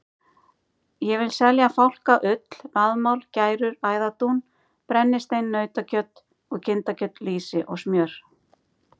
Ég vil selja fálka, ull, vaðmál, gærur, æðardún, brennistein, nautakjöt og kindakjöt, lýsi og smjör.